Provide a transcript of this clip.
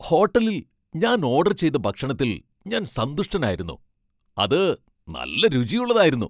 ഹോട്ടലിൽ ഞാൻ ഓഡർ ചെയ്ത ഭക്ഷണത്തിൽ ഞാൻ സന്തുഷ്ടനായിരുന്നു. അത് നല്ല രുചിയുള്ളതായിരുന്നു.